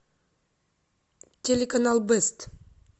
телеканал бэст